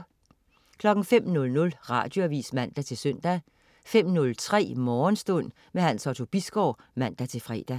05.00 Radioavis (man-søn) 05.03 Morgenstund. Hans Otto Bisgaard (man-fre)